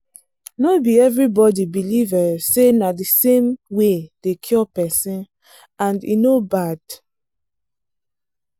doctors and nurses suppose dey ask people gently about their belief matter.